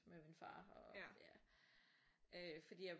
Med min far og ja øh fordi jeg